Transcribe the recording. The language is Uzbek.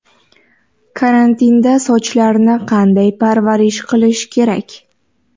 Karantinda sochlarni qanday parvarish qilish kerak?